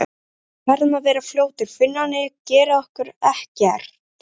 Uss, við verðum svo fljótar, Finnarnir gera okkur ekkert.